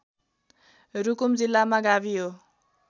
रुकुम जिल्लामा गाभियो